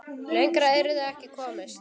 Lengra yrði ekki komist.